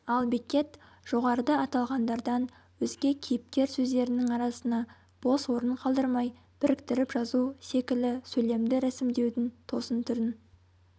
ал беккет жоғарыда аталғандардан өзге кейіпкер сөздерінің арасына бос орын қалдырмай біріктіріп жазу секілі сөйлемді рәсімдеудің тосын түрін